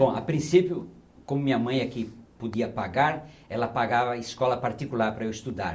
Bom, a princípio, como minha mãe é que podia pagar, ela pagava escola particular para eu estudar.